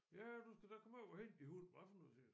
Ja du skal da komme over og hente din hund hvad for noget siger jeg